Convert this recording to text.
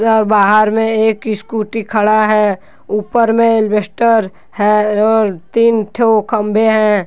बाहर में एक स्कूटी खड़ा है ऊपर में एल्बेस्टर है और तीन ठो खम्बे हैं।